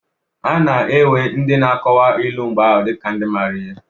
A na-ewe ndị n'akọwa ilu mgbe ahụ dị ka ndị maara ihe.